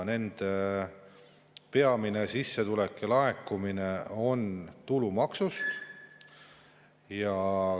Nende peamine sissetulek ja laekumine tuleb tulumaksust.